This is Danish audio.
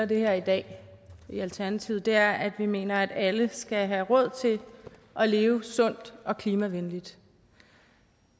det her i dag i alternativet er at vi mener at alle skal have råd til at leve sundt og klimavenligt